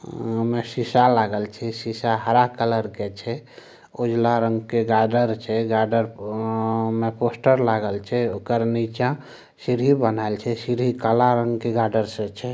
ओय में शिशा लागल छै शिशा हरा कलर के छै उजला रंग के गार्डर छै गार्डर में पोस्टर लागल छै ओकर नीचा सीढ़ी बनाल छै सीढ़ी काला रंग के गार्डर से छै।